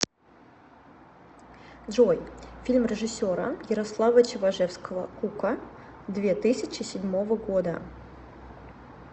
джой фильм режиссера ярослава чеважевского кука две тысячи седьмого года